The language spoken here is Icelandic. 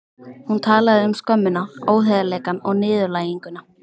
Hún talaði um skömmina, óheiðarleikann og niðurlæginguna.